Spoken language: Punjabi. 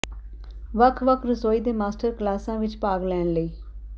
ਵੱਖ ਵੱਖ ਰਸੋਈ ਦੇ ਮਾਸਟਰ ਕਲਾਸਾਂ ਵਿਚ ਭਾਗ ਲੈਣ ਲਈ